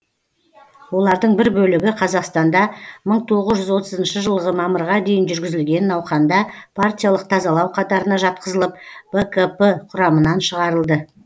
олардың бір бөлігі қазақстанда мың тоғыз жүз отызыншы жылғы мамырға дейін жүргізілген науқанда партиялық тазалау қатарына жатқызылып бкп құрамынан шығарылды